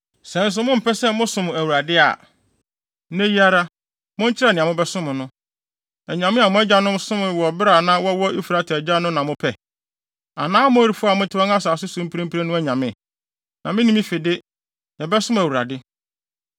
Sɛ nso mompɛ sɛ mosom Awurade a, nnɛ yi ara, monkyerɛ nea mobɛsom no. Anyame a mo agyanom somee wɔ bere a na wɔwɔ Efrate agya no na mopɛ? Anaa Amorifo a mote wɔn asase so mprempren no anyame? Na me ne me fi de, yɛbɛsom Awurade.”